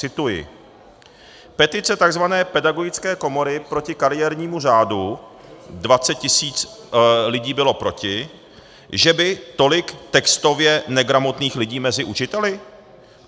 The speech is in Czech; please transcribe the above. Cituji: "Petice tzv. Pedagogické komory proti kariérnímu řádu, 20 000 lidí bylo proti, že by tolik textově negramotných lidí mezi učiteli?